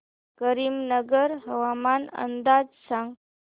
करीमनगर हवामान अंदाज सांग